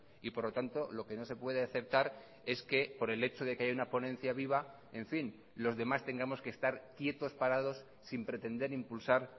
y por lo tanto lo que no se puede aceptar es que por el hecho de que haya una ponencia viva en fin los demás tengamos que estar quietos parados sin pretender impulsar